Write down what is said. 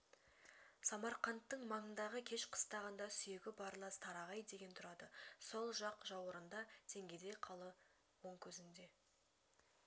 самарқандтың маңындағы кеш қыстағында сүйегі барлас тарағай деген тұрады сол жақ жаурынында теңгедей қалы оң көзінде